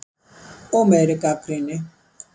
Og meiri gagnrýni.